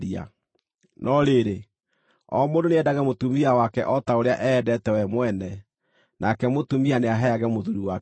No rĩrĩ, o mũndũ nĩendage mũtumia wake o ta ũrĩa eendete we mwene, nake mũtumia nĩaheage mũthuuri wake gĩtĩĩo.